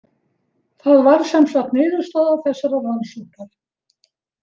Það varð sem sagt niðurstaða þessarar rannsóknar.